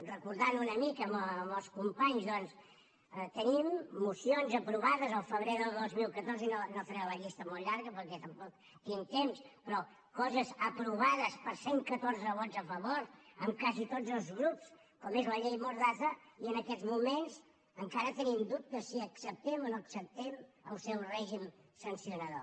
recordant una mica amb els companys doncs tenim mocions aprovades del febrer del dos mil catorze i no faré la llista molt llarga perquè tampoc tinc temps però coses aprovades per cent i catorze vots a favor amb quasi tots els grups com és la llei mordaza i en aquests moments encara tenim dubtes si acceptem o no acceptem el seu règim sancionador